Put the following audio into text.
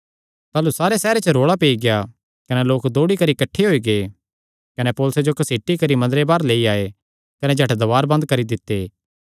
ताह़लू सारे सैहरे च रौल़ा पेई गेआ कने लोक दौड़ी करी किठ्ठे होई गै कने पौलुसे जो घसीटी करी मंदरे बाहर लेई आये कने झट दवार बंद करी दित्ते